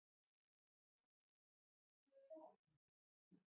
Arnrún, opnaðu dagatalið mitt.